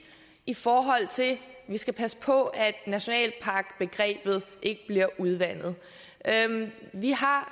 i forhold til at vi skal passe på at nationalparkbegrebet ikke bliver udvandet vi har